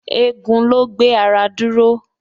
Egun ló ń gbé ara dúró